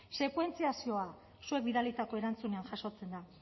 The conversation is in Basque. sekuentziazioa zuek bidalitako erantzunean jasotzen da